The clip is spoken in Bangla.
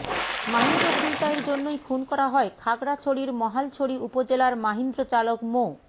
মাহিন্দ্র ছিনতাইয়ের জন্যই খুন করা হয় খাগড়াছড়ির মহালছড়ি উপজেলার মাহিন্দ্রচালক মো